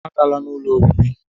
Agala n'ụlọ obibi!